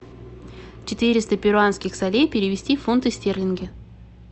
четыреста перуанских солей перевести в фунты стерлинги